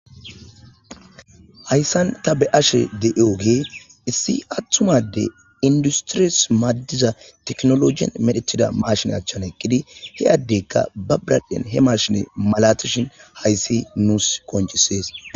Hayssan ta be ashe deioge issi attumade industiris maaddiza teknologin medhetida marshine achchan eqkidi he addeykka ba braddhen he marshine malatishin hayssi nuus koncisees.